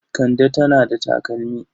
Kande tana da takalmi.